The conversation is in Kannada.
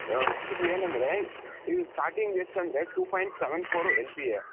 ಇದರಲ್ಲಿ ಏನಂದ್ರೆ ಇದು starting ಎಷ್ಟಂದ್ರೆ two point seven for LPA